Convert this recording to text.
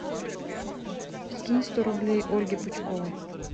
скинь сто рублей ольге пучковой